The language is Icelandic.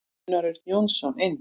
Gunnar Örn Jónsson inn.